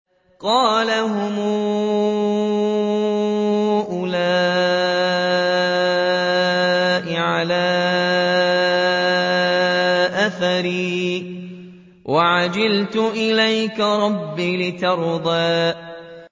قَالَ هُمْ أُولَاءِ عَلَىٰ أَثَرِي وَعَجِلْتُ إِلَيْكَ رَبِّ لِتَرْضَىٰ